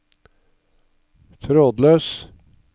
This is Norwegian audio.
trådløs